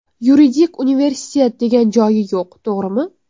Yuridik universitet degan joyi yo‘q, to‘g‘rimi?